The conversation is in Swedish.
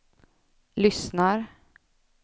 lyssnar